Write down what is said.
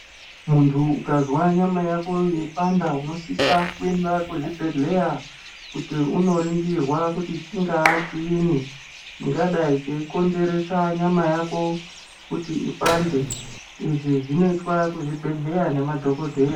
Muntu ukazwa nyama yako yeipanda unosisa kuenda kuzvibhedhleya, kuti unoringirwa kuti chingaa chiinyi chingadai cheikonzeresa nyama yako, kuti ipande. Izvi zvinoitwa kuzvibhedhleya nemadhokodheya.